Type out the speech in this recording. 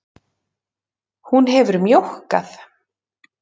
Hún hefur mjókkað.